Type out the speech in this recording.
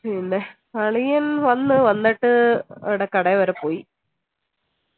അളിയൻ വന്നു വന്നിട്ട് കടയിവരെ പോയി